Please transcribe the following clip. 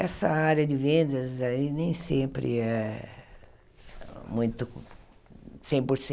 Essa área de vendas aí nem sempre é muito, cem por